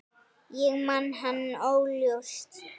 Ég man hann óljóst.